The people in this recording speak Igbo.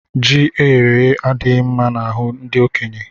Ji eyere èyé adighi mma n'ahu ndi okenye